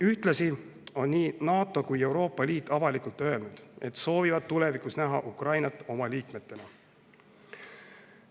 Ühtlasi on nii NATO kui ka Euroopa Liit avalikult öelnud, et soovivad näha Ukrainat tulevikus oma liikmena.